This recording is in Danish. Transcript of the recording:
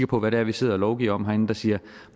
på hvad det er vi sidder og lovgiver om herinde de siger